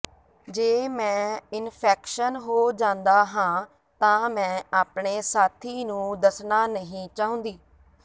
ਜੇ ਮੈਂ ਇਨਫੈਕਸ਼ਨ ਹੋ ਜਾਂਦਾ ਹਾਂ ਤਾਂ ਮੈਂ ਆਪਣੇ ਸਾਥੀ ਨੂੰ ਦੱਸਣਾ ਨਹੀਂ ਚਾਹੁੰਦੀ